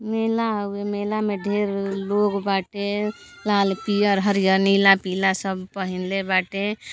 मेला हउवे। मेला मे ढेर लोग बाटे। लाल पीअर हरियर नीला पीला सब पहिनले बाटे।